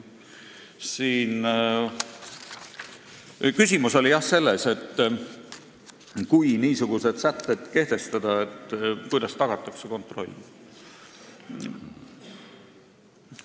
Küsimus oli siin aga selles, et kui niisugused sätted kehtestada, siis kuidas tagatakse kontroll.